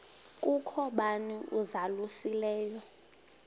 kukho bani uzalusileyo